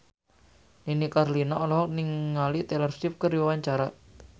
Nini Carlina olohok ningali Taylor Swift keur diwawancara